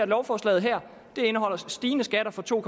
lovforslag indeholder stigende skatter for to